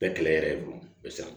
Bɛɛ kɛlɛ yɛrɛ fɔlɔ